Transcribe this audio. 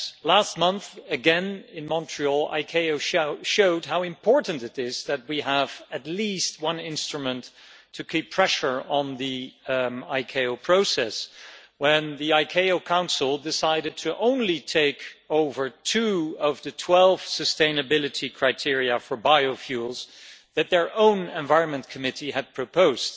Last month, once again in Montreal, ICAO showed how important it is that we have at least one instrument to keep pressure on the ICAO process when the ICAO council decided to take over only two of the 12 sustainability criteria for biofuels that their own environment committee had proposed.